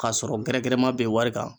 K'a sɔrɔ gɛrɛgɛrɛma bɛ wari kan.